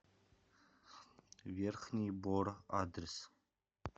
верхний бор адрес